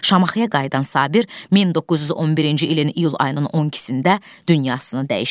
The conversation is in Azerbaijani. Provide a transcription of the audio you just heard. Şamaxıya qayıdan Sabir 1911-ci ilin iyul ayının 12-də dünyasını dəyişir.